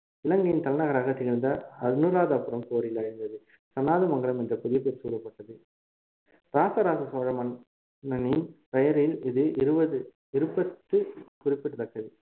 இலங்கையின் தலைநகராக திகழ்ந்த அனுராதபுரம் போரில் அழிந்தது சனநாத மங்கலம் என்று புதிய பெயர் சூட்டப்பட்டு ராசராச சோழ மன்னன் மன்னனின் பெயரில் இது இருபது இருப்பது குறிப்பிடத்தக்கது